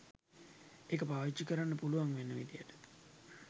ඒක පාවිච්චි කරන්න පුළුවන් වෙන විදියට